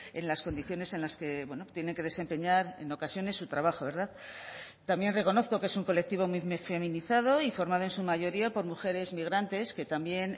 en las condiciones en las que bueno tienen que desempeñar en ocasiones su trabajo verdad también reconozco que es un colectivo muy feminizado y formado en su mayoría por mujeres migrantes que también